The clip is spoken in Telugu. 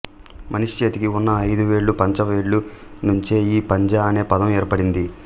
మనిషి చేతికి ఉన్న ఐదు వేళ్లు పంచ వేళ్లు నుంచే ఈ పంజా అనే పదం ఏర్పడింది